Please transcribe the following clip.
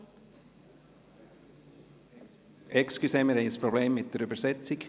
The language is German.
Entschuldigung, wir haben ein Problem mit der Übersetzung.